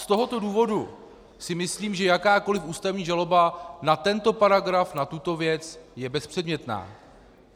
Z tohoto důvodu si myslím, že jakákoliv ústavní žaloba na tento paragraf, na tuto věc, je bezpředmětná.